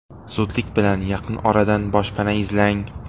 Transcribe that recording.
Zudlik bilan yaqin oradan boshpana izlang.